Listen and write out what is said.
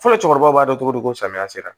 Fɔlɔ cɛkɔrɔba b'a dɔn cogo di ko samiya sera